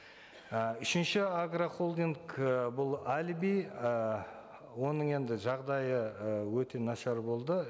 і үшінші агрохолдинг і бұл әлиби і оның енді жағдайы і өте нашар болды